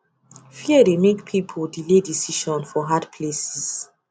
fear dey make people delay decision for hard places